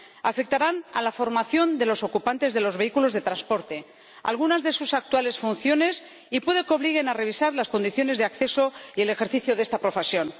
Afectarán a la formación de los ocupantes de los vehículos de transporte y a algunas de sus actuales funciones, y puede que obliguen a revisar las condiciones de acceso y el ejercicio de esta profesión.